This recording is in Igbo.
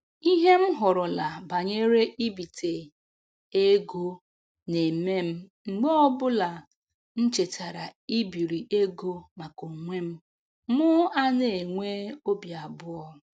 Ihe m hụrụla banyere ibite ego na-eme m mgbe ọbụla m chetara ibiri ego maka onwe m mụ ana-enwe obi abụọ